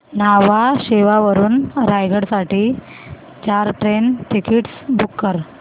न्हावा शेवा वरून रायगड साठी चार ट्रेन टिकीट्स बुक कर